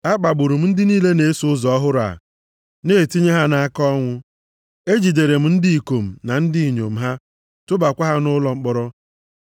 Akpagburu m ndị niile na-eso ụzọ ọhụrụ a, na-etinye ha nʼaka ọnwụ. Ejidere m ndị ikom na ndị inyom ha tụbakwa ha nʼụlọ mkpọrọ.